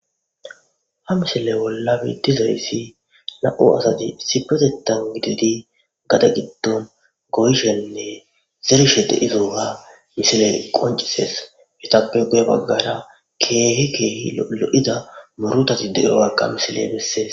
Ha misile bolla betizayisi na'mu asati issippetetani gididi gade gidon zerishe diyayesa qonccises izappe guye bagara kehi kehi lo'iza muruthati diyogaka ha misile besees